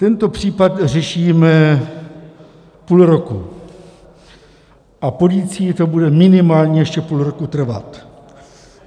Tento případ řešíme půl roku a policii to bude minimálně ještě půl roku trvat.